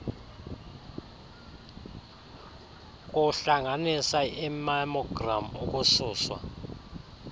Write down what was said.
kuhlanganisa imammogram ukususwa